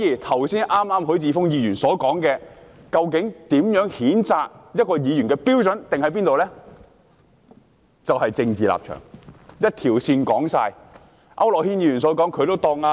許智峯議員剛才提到究竟如何訂定譴責一名議員的標準，其實就是政治立場，就是這一條線，講完。